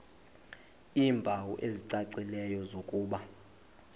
iimpawu ezicacileyo zokuba